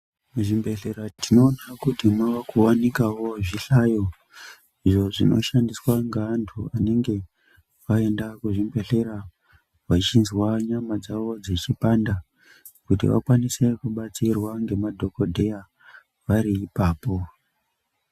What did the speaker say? Muzvibhedhlera tinoona kuti mwava kuwanikawo zvihlayo, izvo zvinoshandiswa ngaantu vanenge vaenda kuzvibhedhlera vachinzwa nyama dzawo dzechipanda kuti vakwaniswe kubatsirwa ngemadhokodheya vari ipapo.